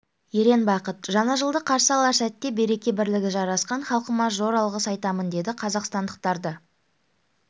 ерен бақыт жаңа жылды қарсы алар сәтте береке-бірлігі жарасқан халқыма зор алғыс айтамын деді қазақстандықтарды